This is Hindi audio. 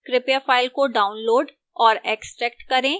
कृपया file को download और extract करें